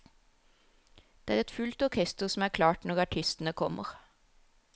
Det er et fullt orkester som er klart når artistene kommer.